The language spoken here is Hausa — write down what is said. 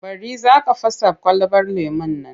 Bari! Za ka fasa kwalabar lemon nan.